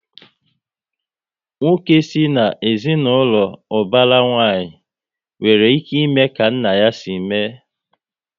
Nwoke si na ezinaụlọ ubara nwanyi, nwere ike ime ka nna ya si mee